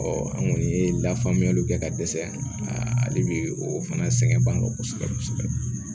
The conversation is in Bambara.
an kɔni ye lafaamuyaliw kɛ ka dɛsɛ ale bɛ o fana sɛgɛn ban kosɛbɛ kosɛbɛ